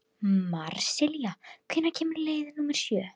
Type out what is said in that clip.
Marsilía, hvenær kemur leið númer sjö?